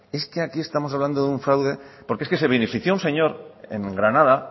es que aquí estamos hablando de un fraude porque es que se benefició un señor en granada